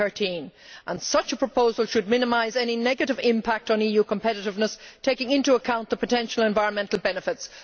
2013. Such a proposal should minimise any negative impact on EU competitiveness, taking into account the potential environmental benefits.'